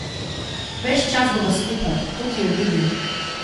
Ves čas bova skupaj, to ti obljubim.